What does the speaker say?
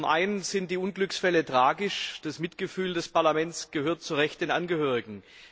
Zum Einen sind die Unglücksfälle tragisch, das Mitgefühl des Parlaments gehört zu Recht den Angehörigen.